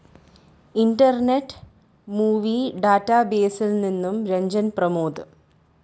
internet movie ഡാറ്റാബേസിൽ നിന്ന് രഞ്ജൻ പ്രമോദ്